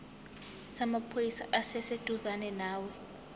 samaphoyisa esiseduzane nawe